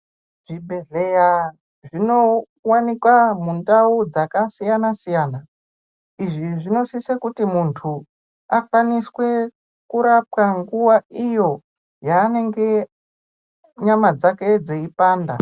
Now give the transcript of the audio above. Zvibhedhleya zvinowanikwa mundau dzakasiyana-siyana. Izvi zvinosise kuti muntu, akwaniswe kurapwa nguwa iyo yaanenge nyama dzake dzeipanda.